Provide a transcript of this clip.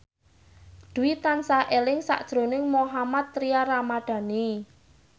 Dwi tansah eling sakjroning Mohammad Tria Ramadhani